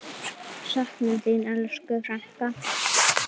Söknum þín, elsku frænka.